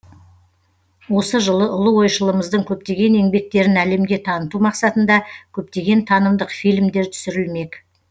осы жылы ұлы ойшылымыздың көптеген еңбектерін әлемге таныту мақсатында көптеген танымдық фильмдер түсірілмек